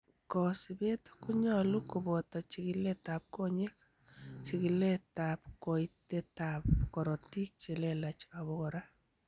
Kosibet konyolu koboto chikiletab konyek, chikiletab koitetab korotik chelelach obokora.